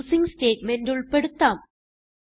using statement ഉൾപ്പെടുത്താം